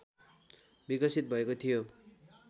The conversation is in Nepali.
विकसित भएको थियो